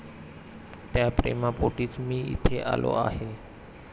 त्या प्रेमापोटीच मी इथे आलो आहे.